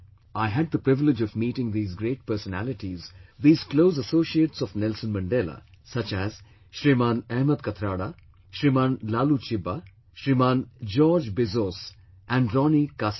I had the privilege of meeting these grat personalities, these close associates of Nelson Mandela such as Shriman Ahmed Kathrada, Shriman Laloo Chiba, Shriman George Bizos and Ronnie Kasrils